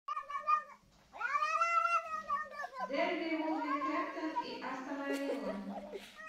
дерби вулверхэмптон и астона вилла